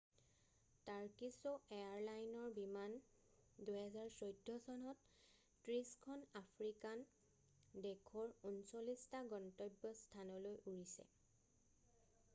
Turkish এয়াৰলাইনৰ বিমান 2014 চনত 30 খন আফ্ৰিকান দেশৰ 39 টা গন্তব্য স্থানলৈ উৰিছে